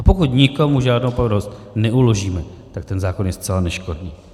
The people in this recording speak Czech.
A pokud nikomu žádnou povinnost neuložíme, tak ten zákon je zcela neškodný.